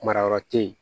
Marayɔrɔ tɛ yen